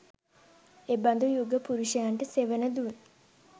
එබඳු යුග පුරුෂයන්ට සෙවණදුන්